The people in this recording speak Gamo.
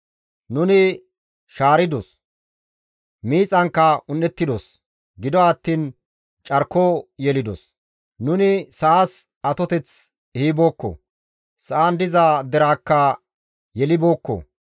Nuni shaaridos; miixankka un7ettidos; gido attiin carko yelidos. Nuni sa7as atoteth ehibookko; sa7an diza deraakka yelibookko.